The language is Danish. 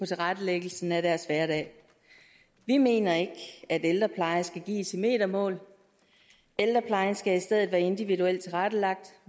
tilrettelæggelsen af deres hverdag vi mener ikke at ældrepleje skal gives i metermål ældreplejen skal i stedet være individuelt tilrettelagt